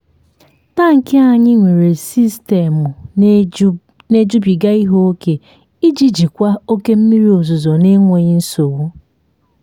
tankị anyị nwere sistemu na-ejubiga ihe ókè iji jikwa oke mmiri ozuzo n'enweghị nsogbu.